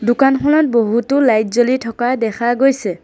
দোকানখনত বহুতো লাইট জ্বলি থকা দেখা গৈছে।